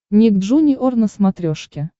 ник джуниор на смотрешке